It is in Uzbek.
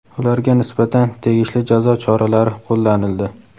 ularga nisbatan tegishli jazo choralari qo‘llanildi.